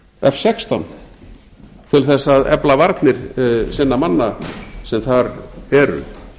f sextán til þess að efla varnir sinna manna sem þar eru